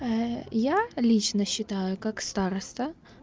я лично считаю как староста